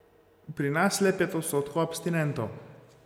Pri nas le pet odstotkov abstinentov.